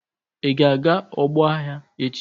Ị ga-aga n'ọgbọ agha echi!